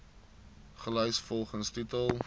gelys volgens titel